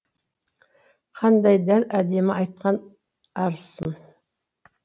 қандай дәл әдемі айтқан арысым